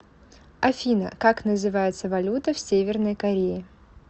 афина как называется валюта в северной корее